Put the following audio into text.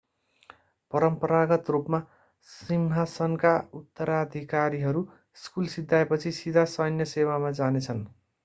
परम्परागत रूपमा सिंहासनका उत्तराधिकारीहरू स्कुल सिध्याएपछि सिधा सैन्य सेवामा जानेछन्